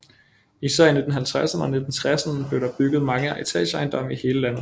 Især i 1950erne og 1960erne blev der bygget mange etageejendomme i hele landet